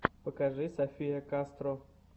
покажи софия кастро